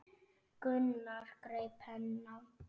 Gunnar greip penna.